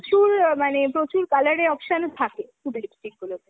প্রচুর মানে প্রচুর colourএ option ও থাকে Sugar lipstick গুলোতে।